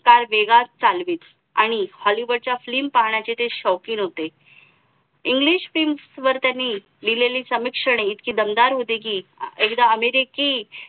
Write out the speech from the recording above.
car वेगात चालवीत आणि hollywood च्या film पाहण्याचे ते शौकीन होते englishfilms वर त्यांनी लिहलेली समीक्षणे इतकी दमदार होते कि एकदा अमेरिके